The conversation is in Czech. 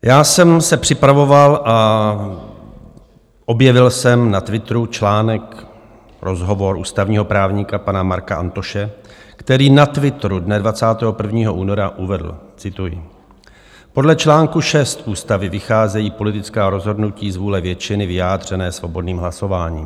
Já jsem se připravoval a objevil jsem na Twitteru článek, rozhovor ústavního právníka pana Marka Antoše, který na Twitteru dne 21. února uvedl - cituji: Podle článku 6 ústavy vycházejí politická rozhodnutí z vůle většiny vyjádřené svobodným hlasováním.